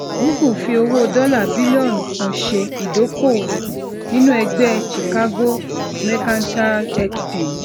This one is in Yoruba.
google fi owó dọla bilọnu kan ṣe ìdokoowo nínú ẹgbẹ chicago mercantile exchange